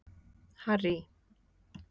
Harry